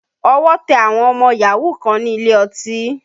Ọwọ́ tẹ àwọn ọmọ yahoo kan ní ilé ọtí